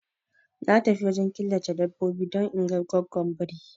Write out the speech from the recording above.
Na tafi wajen killace dabbobi don inga goggon biri